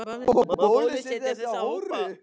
Má bólusetja þessa hópa?